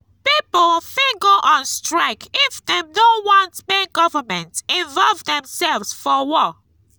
pipo fit go on strike if dem no want make government involve themselves for war